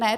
Ne?